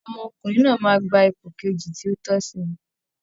Ọmọkùnrin náà máa gba ipò kejì tí ó tọ́sí